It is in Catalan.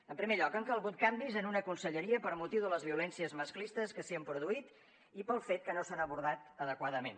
en primer lloc han calgut canvis en una conselleria per motiu de les violències masclistes que s’hi han produït i pel fet que no s’han abordat adequadament